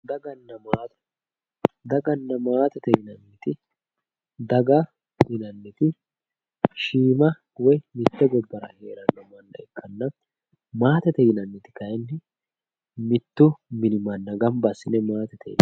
daganna maatete yinanniti daga yinanniti shiima woy mitte gobbara heeranno manna ikkanna maatete yinanniti kayiinni mittu mini manna gamba assine maatete yinanni